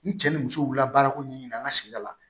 Ni cɛ ni muso wulila baara ko ɲɛɲini an ka sigida la